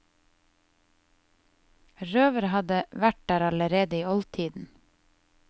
Røvere hadde vært der allerede i oldtiden.